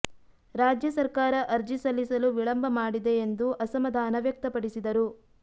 ರಾಜ್ಯ ಸರ್ಕಾರ ಅರ್ಜಿ ಸಲ್ಲಿಸಲು ವಿಳಂಬ ಮಾಡಿದೆ ಎಂದು ಅಸಮಾಧಾನ ವ್ಯಕ್ತಪಡಿಸಿದರು